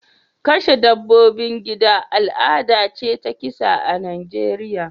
Kashe dabbobin gida al'ada ce ta kisa a Najeriya